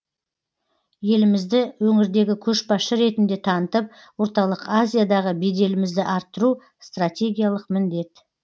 елімізді өңірдегі көшбасшы ретінде танытып орталық азиядағы беделімізді арттыру стратегиялық міндет